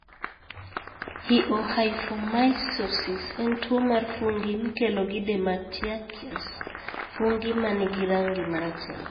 Phaeohyphomycosis en tuwo mar fungi mikelo gi dematiaceous (fungi ma nigi rangi ma rateng).